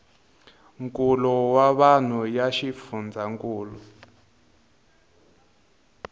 nkulo wa vanhu ya xifundzhankulu